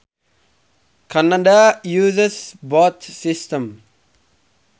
Canada uses both systems